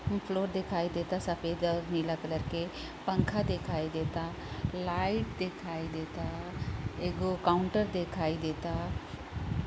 Floor देखाई देता सफ़ेद और नीला कलर के पंखा देखाई देता लाइट देखाई देता एगो काउंटर देखाई देता।